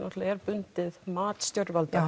er bundið mat stjórnvalda